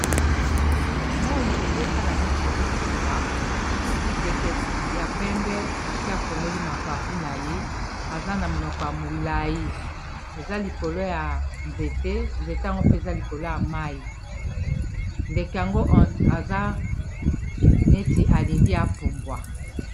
Moi ezosala neti ezokita ndeke ya pembe asi afongoli mapa mpuna ye eza na monoko ya molai eza likolo ya nzete, nzete yango mpe eza likolo ya mai ndeke yango eza neti alingi apumbwa.